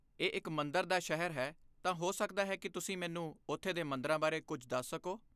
ਇਹ ਇੱਕ ਮੰਦਰ ਦਾ ਸ਼ਹਿਰ ਹੈ, ਤਾਂ ਹੋ ਸਕਦਾ ਹੈ ਕਿ ਤੁਸੀਂ ਮੈਨੂੰ ਉੱਥੇ ਦੇ ਮੰਦਰਾਂ ਬਾਰੇ ਕੁਝ ਦੱਸ ਸਕੋ?